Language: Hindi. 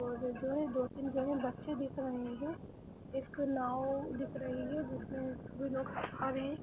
दो तीन जगह बच्चे दिख रहे हैं। एक नाव दिख रही है जिसमें सभी लोग --